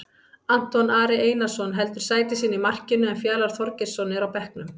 Anton Ari Einarsson heldur sæti sínu í markinu en Fjalar Þorgeirsson er á bekknum.